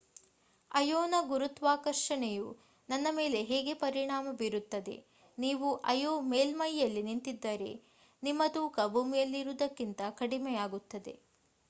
ಅಯೋನ ಗುರುತ್ವಾಕರ್ಷಣೆಯು ನನ್ನ ಮೇಲೆ ಹೇಗೆ ಪರಿಣಾಮ ಬೀರುತ್ತದೆ ನೀವು ಅಯೋ ಮೇಲ್ಮೈಯಲ್ಲಿ ನಿಂತಿದ್ದರೆ ನಿಮ್ಮ ತೂಕ ಭೂಮಿಯಲ್ಲಿರುವುದಕ್ಕಿಂತ ಕಡಿಮೆಯಾಗಿರುತ್ತದೆ